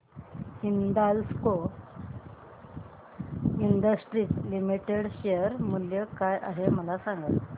Hindalco industries limited share मूल्य काय आहे मला सांगा